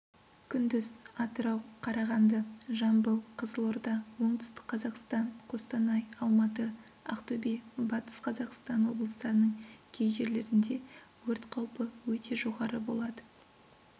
күндіз атырау қарағанды жамбыл қызылорда оңтүстік қазақстан қостанай алматы ақтөбе батыс қазақстан облыстарының кей жерлерінде өрт қаупі өте жоғары болады